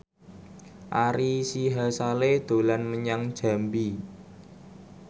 Ari Sihasale dolan menyang Jambi